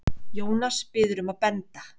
Jónas biður um að benda